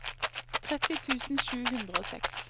tretti tusen sju hundre og seks